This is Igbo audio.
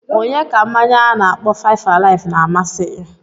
Onye ka mmanya a na-akpọ 5-alive na-amasịghi?